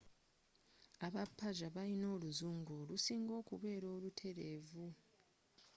abapersia balina oluzungu olusinga okubeera olutereevu